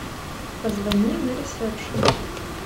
позвони на ресепшен